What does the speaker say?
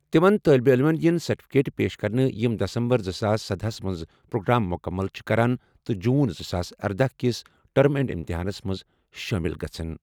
تِمَن طٲلب علمَن یِن سرٹیفکیٹ پیش کرنہٕ یِم دسمبر زٕساس سدہَ ہَس منٛز پروگرام مُکمل چھِ کران تہٕ جون زٕ ساس اردہَ کِس ٹرم اینڈ امتحانَن منٛز شٲمِل گژھَن۔